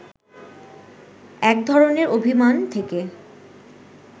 এক ধরণের অভিমান থেকে